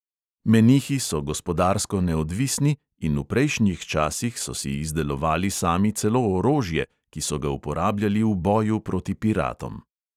Menihi so gospodarsko neodvisni in v prejšnjih časih so si izdelovali sami celo orožje, ki so ga uporabljali v boju proti piratom.